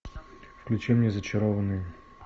включи мне зачарованные